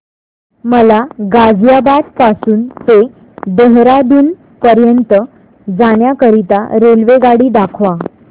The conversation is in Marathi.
मला गाझियाबाद पासून ते देहराडून पर्यंत जाण्या करीता रेल्वेगाडी दाखवा